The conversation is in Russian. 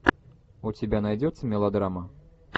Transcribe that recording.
у тебя найдется мелодрама